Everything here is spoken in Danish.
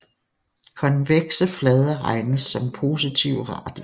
Konvekse flader regnes som positive radier